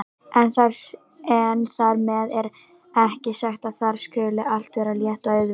En þar með er ekki sagt að þar skuli allt vera létt og auðvelt.